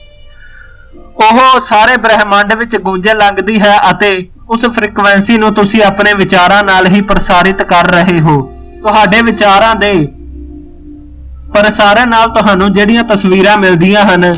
ਓਹੋ ਸਾਰੇ ਬ੍ਰਹਮੰਡ ਵਿੱਚ ਗੂੰਜਣ ਲੱਗਦੀ ਹੈ ਅਤੇ ਉਸ frequency ਨੂੰ ਤੁਸੀ ਆਪਣੇ ਵਿਚਾਰਾ ਨਾਲ ਹੀ ਪ੍ਰਸਾਰਿਤ ਕਰ ਰਹੇ ਹੋ ਤੁਹਾਡੇ ਵਿਚਾਰਾ ਦੇ ਪ੍ਰਸਾਰੇ ਨਾਲ ਤੁਹਾਨੂੰ ਜਿਹੜੀਆਂ ਤਸਵੀਰਾਂ ਮਿਲਦੀਆਂ ਹਨ